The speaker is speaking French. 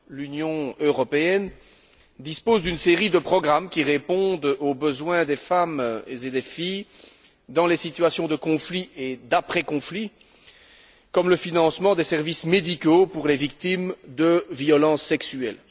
L'Union européenne dispose d'une série de programmes, qui répondent aux besoins des femmes et des filles dans les situations de conflit et d'après conflit, comme le financement des services médicaux pour les victimes de violences sexuelles.